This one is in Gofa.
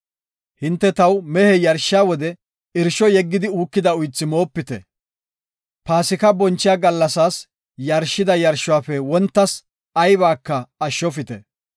“Hinte taw mehe yarshiya wode, irsho yeggidi uukida uythara shishopitte. Paasika bonchiya gallasas yarshida yarshuwafe wontas aybaka ashshofite.